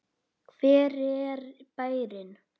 Hver er bærinn?